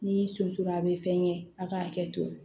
N'i y'i sosoro a bɛ fɛn kɛ a k'a kɛ